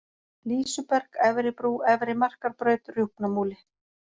Lýsuberg, Efri-Brú, Efri-Markarbraut, Rjúpnamúli